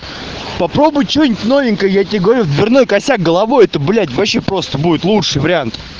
попробуй что-нибудь новенькое я тебе говорю в дверной косяк головой это блять вообще просто будет лучший вариант